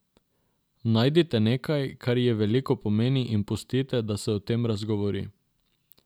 Najdite nekaj, kar ji veliko pomeni in pustite, da se o tem razgovori.